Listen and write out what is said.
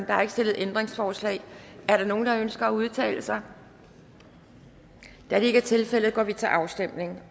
er ikke stillet ændringsforslag er der nogen der ønsker at udtale sig da det ikke er tilfældet går vi til afstemning